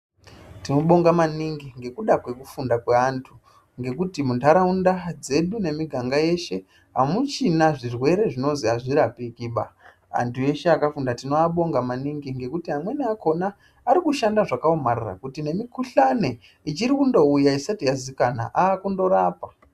Tobonga maningi ngekuda kwekufunda kwe antu ngekuti mundharawunda dzedu nemiganga yeshe hamuchina zvirwere zvonozvi azvirapiki pa. Antu eshe akafunda tivabonga maningi ngekuti amweni akhona arikushanda zvakawomarara kuti nemikhuhlane ichirikundouya isati yazikanwa akundorapa.